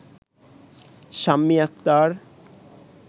Shammi Akhtar